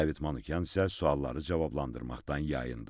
David Manyan isə sualları cavablandırmaqdan yayındı.